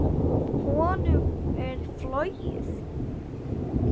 Honum er flogið.